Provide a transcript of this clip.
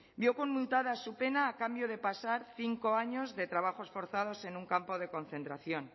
vio conmutada su pena a cambio de pasar cinco años de trabajos forzados en un campo de concentración